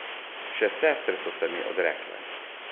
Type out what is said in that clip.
Še sestre so se mi odrekle.